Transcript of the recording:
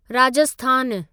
राजस्थानु